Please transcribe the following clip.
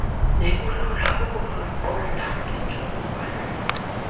nekulula ukuluqonda ngentsholongwane